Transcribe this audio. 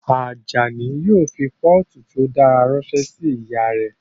Ajani yóò fi pọ́ọ̀tù tí ó dára ránṣẹ́ sí ìyá rẹ̀